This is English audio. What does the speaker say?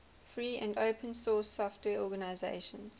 free and open source software organizations